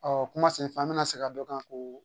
kuma senfa bɛ na se ka dɔ kan ko